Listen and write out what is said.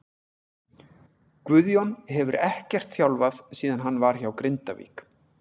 Guðjón hefur ekkert þjálfað síðan hann var hjá Grindavík.